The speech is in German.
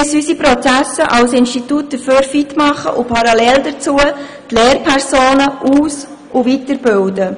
Wir müssen unsere Prozesse als Institut dafür fit machen und parallel dazu die Lehrpersonen aus- und weiterbilden.